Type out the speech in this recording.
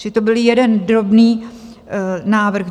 Čili to byl jeden drobný návrh.